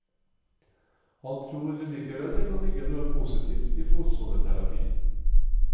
Han tror likevel det kan ligge noe positivt i fotsoneterapi.